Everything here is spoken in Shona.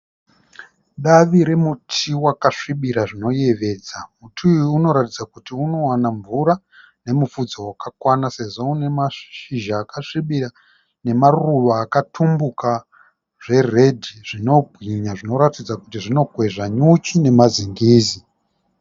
Davi remuti wakasvibira zvinoyevedza. Muti uyu unoratidza kuti unowana mvura nemufudze wakakwana sezvo unemazhizha akasvibira nemaruva akatumbuka zveredhi zvinobwinya zvinoratidza kuti zvinokwezva nyuchi nemazingizi.